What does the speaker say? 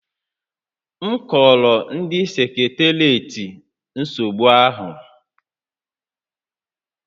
M kọọrọ ndị seketeriatị nsogbu ahụ